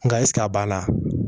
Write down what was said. Nka ɛsike a b'a la